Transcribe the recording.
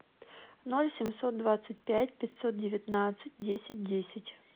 ноль семьсот двадцать пять пятьсот девятнадцать десять десять